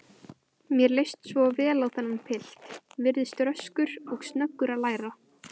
Mér leist svo vel á þennan pilt, virtist röskur og snöggur að læra.